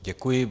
Děkuji.